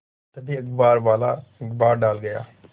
तभी अखबारवाला अखबार डाल गया